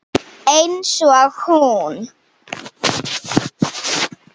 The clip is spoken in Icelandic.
Einsog hún.